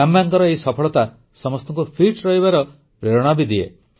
କାମ୍ୟାଙ୍କର ଏଇ ସଫଳତା ସମସ୍ତଙ୍କୁ ଫିଟ୍ ରହିବାର ପ୍ରେରଣା ବି ଦିଏ